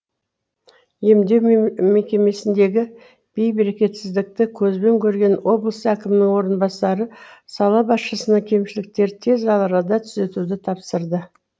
емдеу мекемесіндегі бейберекетсіздікті көзбен көрген облыс әкімінің орынбасары сала басшысына кемшіліктерді тез арада түзетуді тапсырды